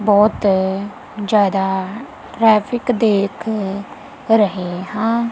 ਬਹੁਤ ਜਿਆਦਾ ਟਰੈਫਿਕ ਦੇਖ ਰਹੀ ਹਾਂ।